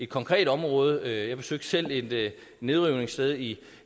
konkret område jeg besøgte selv et nedrivningssted i